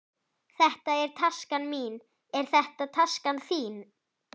Þetta er taskan mín. Er þetta taskan þín?